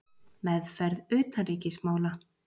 Meðferð utanríkismála.